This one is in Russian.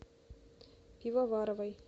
пивоваровой